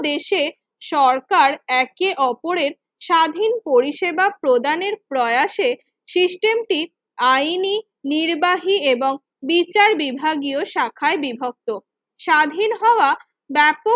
দেশে সরকার একে অপরের স্বাধীন পরিষেবা প্রদানের প্রয়াসে system টি আইনি নির্বাহী এবং বিচার বিভাগীয় শাখায় বিভক্ত স্বাধীন হওয়া ব্যপুল